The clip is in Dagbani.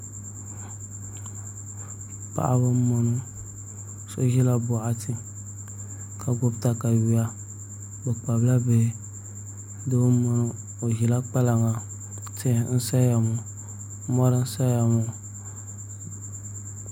Paɣaba n boŋo so ʒila boɣati ka gbubi katawiya bi kpabila bihi doo n boŋo o ʒila kpalaŋa tihi n boŋo mori n saya ŋo